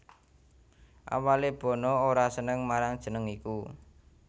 Awalé Bono ora seneng marang jeneng iku